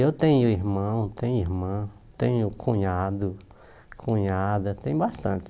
Eu tenho irmão, tenho irmã, tenho cunhado, cunhada, tem bastante.